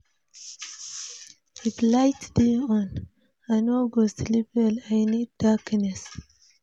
If light dey on, I no go sleep well, I need darkness.